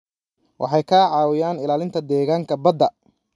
Waxay ka caawiyaan ilaalinta deegaanka badda.